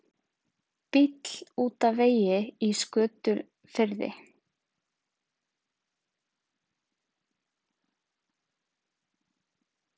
Bíll út af vegi í Skötufirði